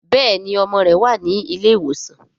béèni ọmọ rẹ wá ní ilé ìwòsan.